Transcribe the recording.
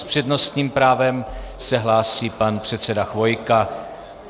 S přednostním právem se hlásí pan předseda Chvojka.